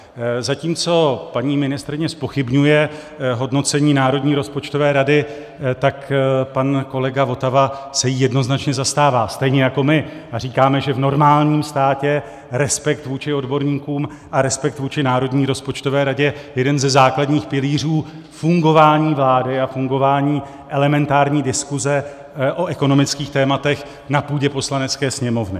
Zatímco paní ministryně zpochybňuje hodnocení Národní rozpočtové rady, tak pan kolega Votava se jí jednoznačně zastává, stejně jako my, a říkáme, že v normálním státě respekt vůči odborníkům a respekt vůči Národní rozpočtové radě je jeden ze základních pilířů fungování vlády a fungování elementární diskuse o ekonomických tématech na půdě Poslanecké sněmovny.